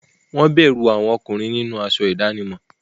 Wọ́n bẹ̀rù àwọn ọkùnrin nínú aṣọ ìdánimọ̀.